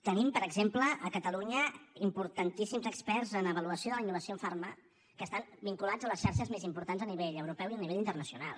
tenim per exemple a catalunya importantíssims experts en avaluació de la innovació en farma que estan vinculats a les xarxes més importants a nivell europeu i a nivell internacional